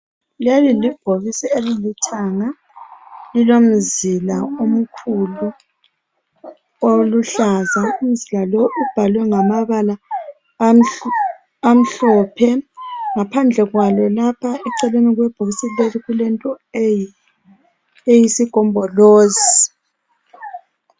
Leli libhokisi elilithanga. Lilomzila omkhulu oluhlaza. Umzila lo ubhalwe ngamabala amhlophe. Ngaphandle kwalo la eceleni kwebhokisi kulento eyisigombolozi.